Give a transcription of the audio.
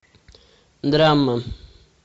драма